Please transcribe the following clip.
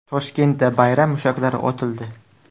Toshkentda bayram mushaklari otildi .